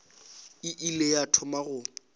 e ile ya thoma go